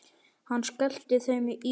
Hann skellti þeim í sig.